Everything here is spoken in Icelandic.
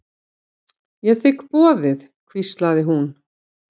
Ég þigg boðið hvíslaði hún.